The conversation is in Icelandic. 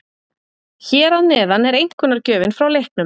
Hér að neðan er einkunnargjöfin frá leiknum.